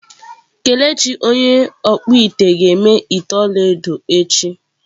Kelechi onye okpu-ite ga-eme ite olaedo echi.